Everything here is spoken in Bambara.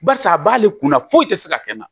Barisa a b'ale kunna foyi tɛ se ka kɛ n na